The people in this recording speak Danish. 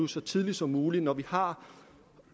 så tidligt som muligt når vi har